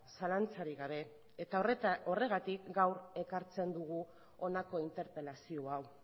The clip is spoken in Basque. zalantzarik gabe eta horregatik gaur ekartzen dugu honako interpelazio hau